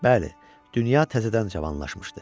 Bəli, dünya təzədən cavanlaşmışdı.